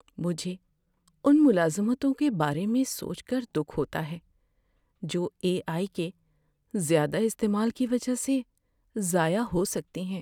مجھے ان ملازمتوں کے بارے میں سوچ کر دکھ ہوتا ہے جو اے آئی کے زیادہ استعمال کی وجہ سے ضائع ہو سکتی ہیں۔